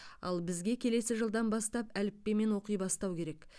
ал бізге келесі жылдан бастап әліппемен оқи бастау керек